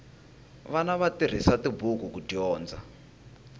vana va tirhisa tibuku ku dyondza